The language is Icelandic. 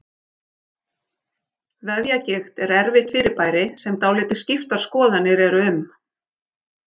Vefjagigt er erfitt fyrirbæri sem dálítið skiptar skoðanir eru um.